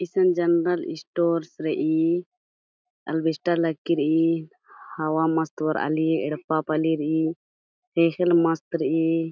इशन general stores रई अल्वेस्टर लग्गी रई हवा मस्त बरआ ली येड्पा पली रई खेखेल मस्त रई ।